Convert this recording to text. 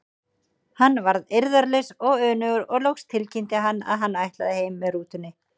Hann varð eirðarlaus og önugur og loks tilkynnti hann að hann ætlaði heim með rútunni.